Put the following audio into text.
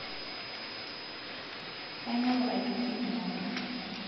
kaing'oru aitoki jumauni